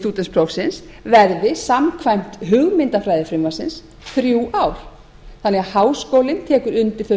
stúdentsprófsins verði samkvæmt hugmyndafræði frumvarpsins þrjú ár þannig að háskólinn tekur undir þau